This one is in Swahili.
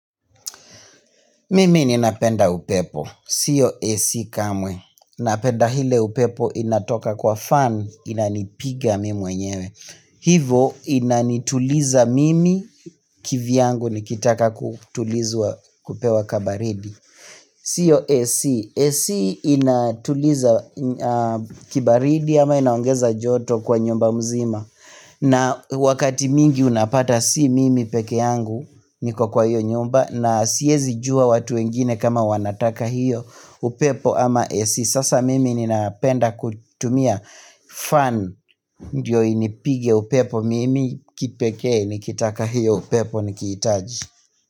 Mimi ninapenda upepo. Sio AC kamwe. Napenda ile upepo inatoka kwa fan inanipiga mi mwenyewe. Hivo inanituliza mimi kivyangu nikitaka kutulizwa kupewa kabaridi. Siyo AC, AC inatuliza kibaridi ama inaongeza joto kwa nyumba mzima na wakati mingi unapata si mimi peke yangu niko kwa hiyo nyumba na siezi jua watu wengine kama wanataka hiyo upepo ama AC Sasa mimi ninapenda kutumia fan ndio inipige upepo mimi kipekee nikitaka hiyo upepo nikihitaji.